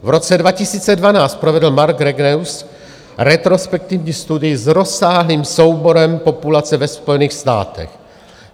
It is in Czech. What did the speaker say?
V roce 2012 provedl Mark Regnerus retrospektivní studii s rozsáhlým souborem populace ve Spojených státech.